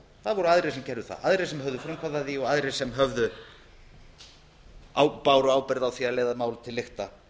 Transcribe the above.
voru aðrir sem gerðu það aðrir sem höfðu frumkvæði að því og aðrir sem báru ábyrgð á því að leiða málið til lykta